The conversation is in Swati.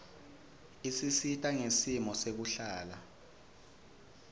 isisita ngesimo sekuhlala